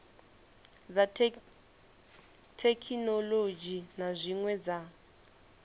dza thekhinolodzhi na zwine dza